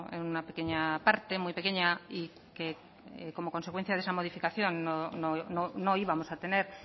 en una pequeña parte muy pequeña y que como parte de esa modificación no íbamos a tener